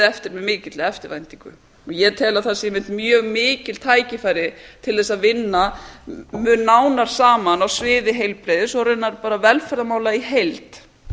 eftir með mikilli eftirvæntingu og ég tel að það sé einmitt mjög mikil tækifæri til að vinna mun nánar saman á sviði heilbrigðis og raunar velferðarmála í heild